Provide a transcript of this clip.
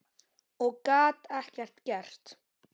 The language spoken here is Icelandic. Og gat ekkert gert.